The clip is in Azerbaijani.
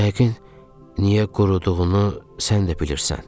Yəqin niyə quruduğunu sən də bilirsən.